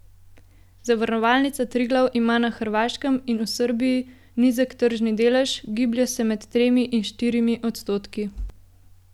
Zavarovalnica Triglav ima na Hrvaškem in v Srbiji nizek tržni delež, giblje se med tremi in štirimi odstotki.